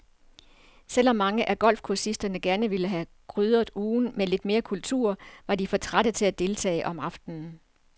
Selv om mange af golfkursisterne gerne ville have krydret ugen med lidt mere kultur, var de for trætte til at deltage om aftenen.